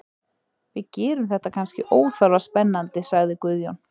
Við gerum þetta kannski óþarfa spennandi, sagði Guðjón.